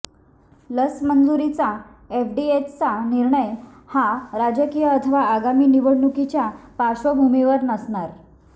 लस मंजुरीचा एफडीएचा निर्णय हा राजकीय अथवा आगामी निवडणुकीच्या पार्श्वभूमीवर नसणार